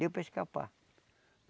Deu para escapar.